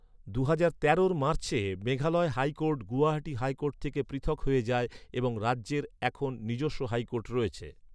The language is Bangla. দুহাজার তেরোর মার্চে মেঘালয় হাইকোর্ট গুয়াহাটি হাইকোর্ট থেকে পৃথক হয়ে যায় এবং রাজ্যের এখন নিজস্ব হাইকোর্ট রয়েছে।